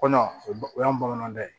Kɔnɔ o y'an bamanan da ye